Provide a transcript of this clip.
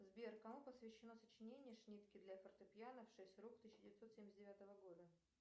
сбер кому посвящено сочинение шнитке для фортепьяно в шесть рук тысяча девятьсот семьдесят девятого года